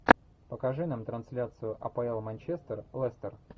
покажи нам трансляцию апл манчестер лестер